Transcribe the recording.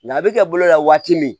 Nga a bɛ kɛ bolo la waati min